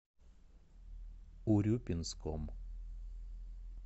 урюпинском